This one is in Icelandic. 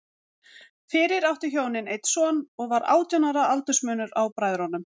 Fyrir áttu hjónin einn son, og var átján ára aldursmunur á bræðrunum.